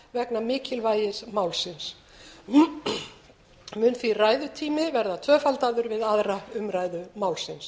vegna mikilvægis málsins mun því ræðutími verða tvöfaldaður við aðra umræðu málsins